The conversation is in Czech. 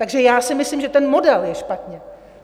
Takže já si myslím, že ten model je špatně.